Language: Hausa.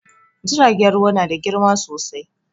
Jiragen ruwa na da girma sosai